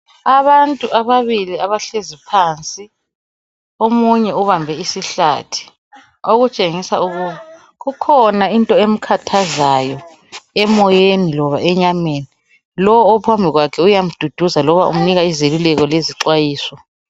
Abantu ababili abahlezi phansi, omunye ubambe isihlathi, okutshengisa ukuthi kukhona into emkhathazayo emoyeni loba enyameni. Lowu ophambi kwakhe uyamduduza loba umnika izeluleko lezixwayiso.